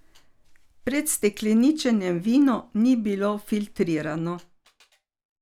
Pred stekleničenjem vino ni bilo filtrirano.